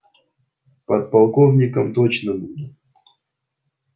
подполковником точно буду